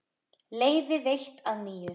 Leyfi veitt að nýju